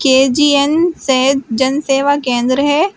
K G N Sahaj Jan Seva Kendra है।